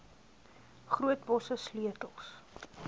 groot bosse sleutels